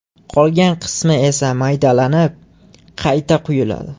Qolgan qismi esa maydalanib, qayta quyiladi.